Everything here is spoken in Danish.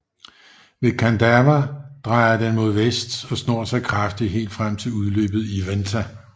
Ved Kandava drejer den mod vest og snor sig kraftigt helt frem til udløbet i Venta